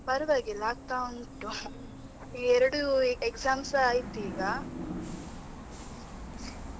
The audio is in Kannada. ಪರ್ವಾಗಿಲ್ಲ, ಆಗ್ತಾ ಉಂಟು ಎರಡು exams ಆಯ್ತು ಈಗ .